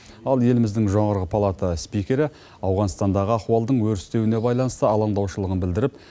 ал еліміздің жоғары палата спикері ауғанстандағы ахуалдың өрістеуіне байланысты алаңдаушылығын білдіріп